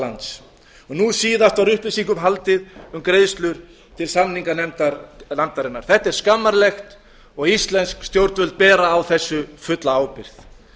lands nú síðast var upplýsingum haldið um greiðslur til samninganefndarinnar þetta er skammarlegt og íslensk stjórnvöld bera á þessu fulla ábyrgð